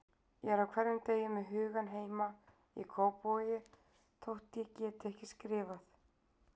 Ég er á hverjum degi með hugann heima í Kópavogi þótt ég geti ekki skrifað.